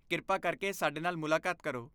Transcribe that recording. ਕ੍ਰਿਪਾ ਕਰਕੇ! ਸਾਡੇ ਨਾਲ ਮੁਲਾਕਾਤ ਕਰੋ।